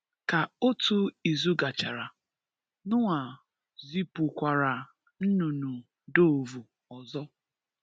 Ka otu izu gachara, Noah zipukwara nnunnu doovu ozo.